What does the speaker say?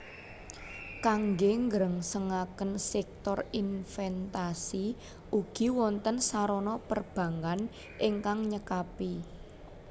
Kangge nggrengsengaken sèktor inventasi ugi wonten sarana perbankkan ingkang nyekapi